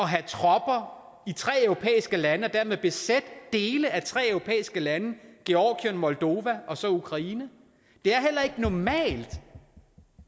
have tropper i tre europæiske lande og dermed besætte dele af tre europæiske lande georgien moldova og så ukraine det er heller ikke normalt